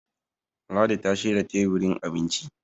ladi ta shirya teburin abinci